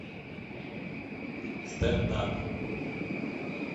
стендап